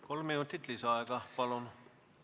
Kolm minutit lisaaega, palun!